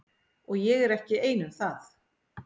Og ég er ekki einn um það.